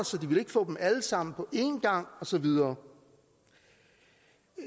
så de ville ikke få dem alle sammen på en gang og så videre